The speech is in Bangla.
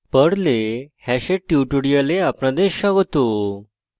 perl perl এ hash hash এর tutorial আপনাদের স্বাগত